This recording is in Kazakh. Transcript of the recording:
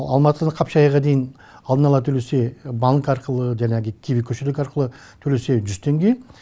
алматыдан қапшағайға дейін алдын ала төлесе банк арқылы жаңағы киви кошелек арқылы төлесе жүз теңге